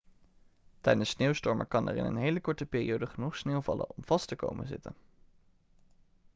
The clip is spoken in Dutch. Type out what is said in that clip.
tijdens sneeuwstormen kan er in een hele korte periode genoeg sneeuw vallen om vast te komen te zitten